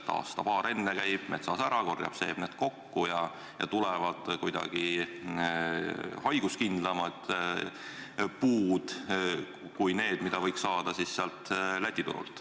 Käib aasta-paar enne metsas ära ja korjab seemned kokku ning selle tulemusena kasvatab haiguskindlamad puud kui need, mida võiks saada Läti turult.